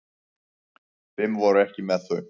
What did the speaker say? Fimm voru ekki með þau.